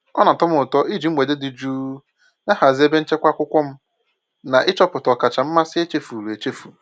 Ọ na-atọ m ụtọ iji mgbede dị jụụ na-ahazi ebe nchekwa akwụkwọ m na ịchọpụta ọkacha mmasị echefuru echefu.